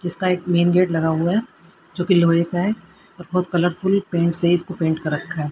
इसका एक main gate लगा हुआ है जो कि लोहे का है और बहोत कलरफुल पेंट से इसको पेंट कर रखा है।